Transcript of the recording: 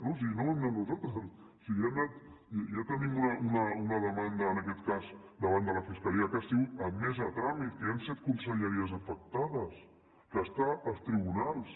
no si no hi hem anat nosaltres si ja tenim una demanda en aquest cas davant de la fiscalia que ha sigut admesa a tràmit que hi han set conselleries afectades que està als tribunals